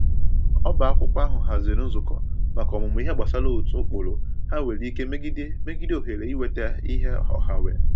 Ọba akwụkwọ ahụ haziri nzukọ maka ọmụmụ ihe gbasara otu ụkpụrụ ha nwere ike megide megide ohere inweta ihe ọha nwe